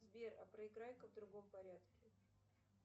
сбер а проиграй ка в другом порядке